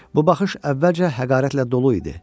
Bu baxış əvvəlcə həqarətlə dolu idi.